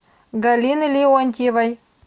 галины леонтьевой